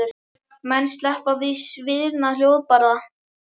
Menn sleppa með sviðna hjólbarða?